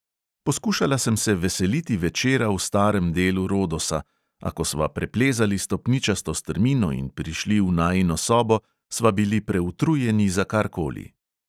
Poskušala sem se veseliti večera v starem delu rodosa, a ko sva preplezali stopničasto strmino in prišli v najino sobo, sva bili preutrujeni za kar koli.